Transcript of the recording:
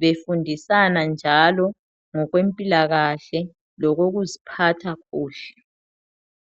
befundisana njalo ngokwempilakahle. Lokokuziphatha kuhle.